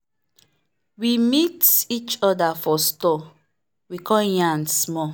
we meet each other for store we come yarn small.